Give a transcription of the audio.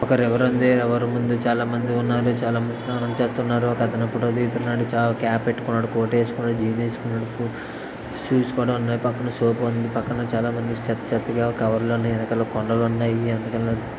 ఎవరు ముందు చాలా మంది ఉన్నారు చాలా మంది స్నానం చేస్తున్నారు ఒక అతను ఫోటో తీస్తున్నాడు క్యాప్ పెట్టుకున్నాడు కోట్ వేసుకున్నాడు జీన్స్ వేసుకున్నాడు షూస్ కూడా ఉన్నాయి పక్కన సోప్ ఉంది పక్కన చాలామంది చెత్త చెత్తగా కవర్ లు ఉన్నాయి. వెనకాల కొండలు ఉన్నాయి.